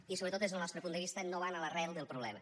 i sobretot des del nostre punt de vista no van a l’arrel del problema